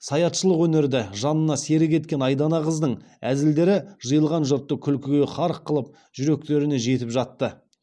саятшылық өнерді жанына серік еткен айдана қыздың әзілдері жиылған жұртты күлкіге қарық қылып жүректеріне жетіп жатты